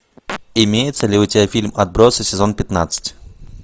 имеется ли у тебя фильм отбросы сезон пятнадцать